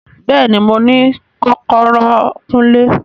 Bẹẹni, Mo ni kọkọrọ Kunle